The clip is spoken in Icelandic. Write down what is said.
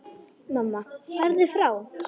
Mamma: Farðu frá!